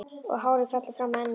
Og hárið fellur fram á ennið.